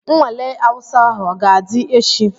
Nnwale Awụsa ahụ ọ ga-adị echi?